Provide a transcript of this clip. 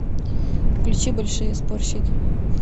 включи большие спорщики